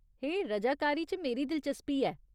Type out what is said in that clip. हे, रजाकारी च मेरी दिलचस्पी ऐ।